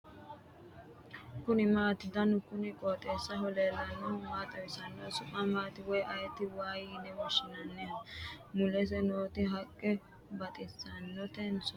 kuni maati ? danu kuni qooxeessaho leellannohu maa xawisanno su'mu maati woy ayeti ? waa lowoha lawannohu waanko mulesi nooti haqqe baxissanotenso ?